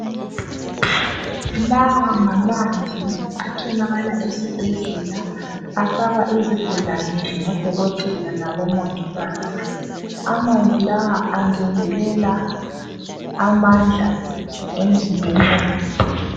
Lawa ngamanzi atholakala esibhedlela afakwa izigulane ngoDokotela labo Mongikazi amanzi la angezelela amandla emzimbeni womuntu.